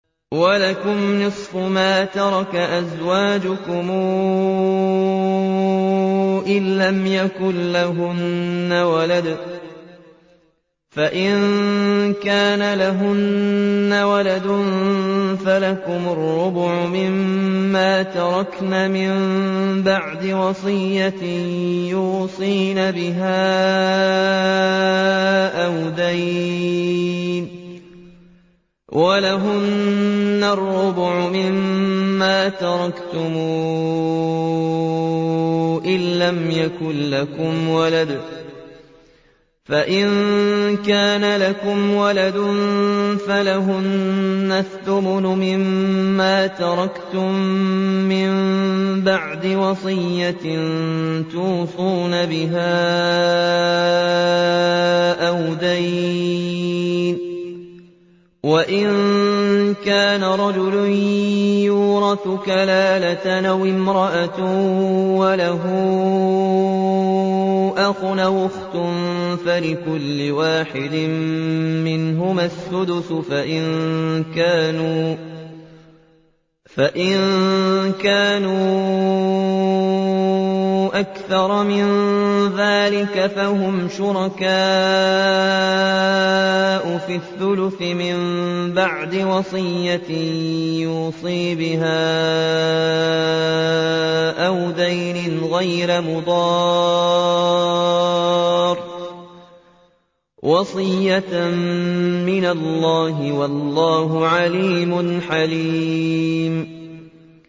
۞ وَلَكُمْ نِصْفُ مَا تَرَكَ أَزْوَاجُكُمْ إِن لَّمْ يَكُن لَّهُنَّ وَلَدٌ ۚ فَإِن كَانَ لَهُنَّ وَلَدٌ فَلَكُمُ الرُّبُعُ مِمَّا تَرَكْنَ ۚ مِن بَعْدِ وَصِيَّةٍ يُوصِينَ بِهَا أَوْ دَيْنٍ ۚ وَلَهُنَّ الرُّبُعُ مِمَّا تَرَكْتُمْ إِن لَّمْ يَكُن لَّكُمْ وَلَدٌ ۚ فَإِن كَانَ لَكُمْ وَلَدٌ فَلَهُنَّ الثُّمُنُ مِمَّا تَرَكْتُم ۚ مِّن بَعْدِ وَصِيَّةٍ تُوصُونَ بِهَا أَوْ دَيْنٍ ۗ وَإِن كَانَ رَجُلٌ يُورَثُ كَلَالَةً أَوِ امْرَأَةٌ وَلَهُ أَخٌ أَوْ أُخْتٌ فَلِكُلِّ وَاحِدٍ مِّنْهُمَا السُّدُسُ ۚ فَإِن كَانُوا أَكْثَرَ مِن ذَٰلِكَ فَهُمْ شُرَكَاءُ فِي الثُّلُثِ ۚ مِن بَعْدِ وَصِيَّةٍ يُوصَىٰ بِهَا أَوْ دَيْنٍ غَيْرَ مُضَارٍّ ۚ وَصِيَّةً مِّنَ اللَّهِ ۗ وَاللَّهُ عَلِيمٌ حَلِيمٌ